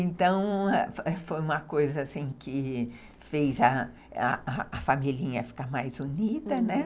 Então, ãh, foi uma coisa assim que fez a familhinha ficar mais unida, né?